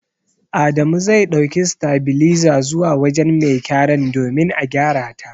Adamu zai ɗauki sitabiliza zuwa wujen mai gyaran domin a gyarata.